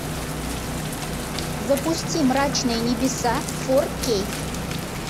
запусти мрачные небеса фор кей